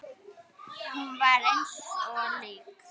Hún var eins og lík.